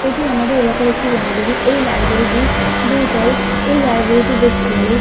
এটি আমাদের এলাকার একটি লাইব্রেরি । এই লাইব্রেরি - টি দু তল। এই লাইব্রেরিটি বেশ বড়ো।